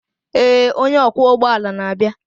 ee onye ọkwọ ụgbọ ala na-abịa.